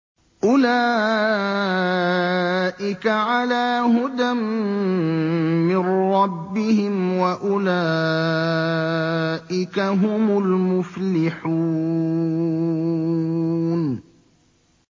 أُولَٰئِكَ عَلَىٰ هُدًى مِّن رَّبِّهِمْ ۖ وَأُولَٰئِكَ هُمُ الْمُفْلِحُونَ